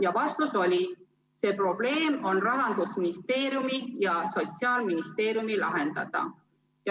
Ja vastus oli: see probleem on Rahandusministeeriumi ja Sotsiaalministeeriumi lahendada.